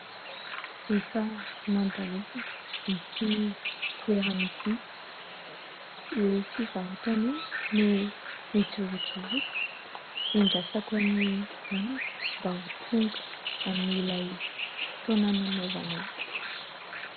Efa nandalovako ity toerana ity, io fivarotana io no ijorojoroako hiandrasako ny namako mba ho tonga amin'ilay fotoana nanaovanay.